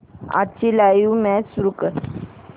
आजची live match सुरू कर